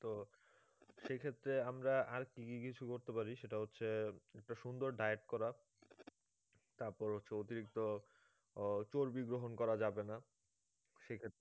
তো সেই ক্ষেত্রে আমরা আর কি কি কিছু করতে পারি সেটা হচ্ছে একটা সুন্দর diet করা তারপর হচ্ছে অতিরিক্ত আহ চর্বি গ্রহণ করা যাবে না সেই ক্ষেত্রে